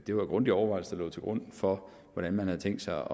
det var grundige overvejelser der lå til grund for hvordan man havde tænkt sig